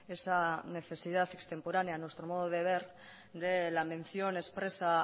esa necesidad extemporánea a nuestro modo de ver de la mención expresa